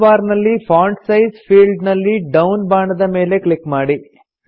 tool bar ನಲ್ಲಿ font size field ನಲ್ಲಿ down ಬಾಣದ ಮೇಲೆ ಕ್ಲಿಕ್ ಮಾಡಿ